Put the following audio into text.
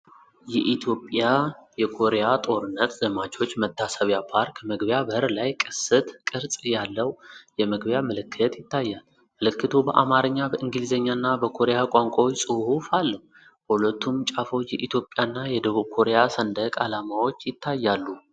የኢትዮጵያ የኮሪያ ጦርነት ዘማቾች መታሰቢያ ፓርክ መግቢያ በር ላይ ቅስት ቅርጽ ያለው የመግቢያ ምልክት ይታያል። ምልክቱ በአማርኛ፣ በእንግሊዝኛና በኮሪያ ቋንቋዎች ጽሑፍ አለው፤ በሁለቱም ጫፎች የኢትዮጵያና የደቡብ ኮሪያ ሰንደቅ ዓላማዎች ይታያሉ።